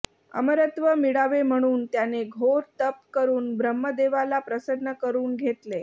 अमरत्व मिळावे म्हणून त्याने घोर तप करून ब्रह्मदेवाला प्रसन्न करून घेतले